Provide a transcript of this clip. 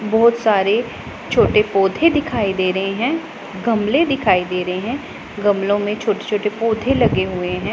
बहुत सारे छोटे पौधे दिखाई दे रहे हैं गमले दिखाई दे रहे हैं गमलों में छोटे छोटे पौधे लगे हुए हैं।